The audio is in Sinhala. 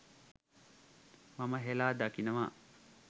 මම හෙලා දකිනවා